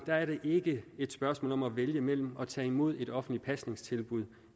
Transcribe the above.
er det ikke et spørgsmål om at vælge mellem at tage imod et offentligt pasningstilbud